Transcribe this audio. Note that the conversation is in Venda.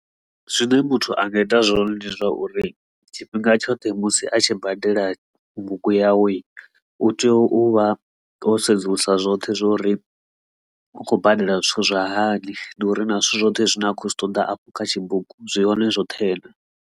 Zwine muthu a nga ita zwone ndi zwa uri tshifhinga tshoṱhe musi a tshi badela bugu yawe u tea u vha o sedzulusa zwoṱhe zwo ri u khou badela zwithu zwa hani ndi uri na zwithu zwoṱhe zwine a khou zwi ṱoḓa afho kha tshibugu zwi hone zwoṱhe na.